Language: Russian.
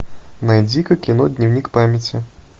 найди ка кино дневник памяти